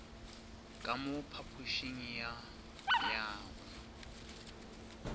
ka mo phapošing ya go